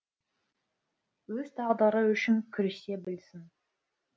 өз тағдыры үшін күресе білсін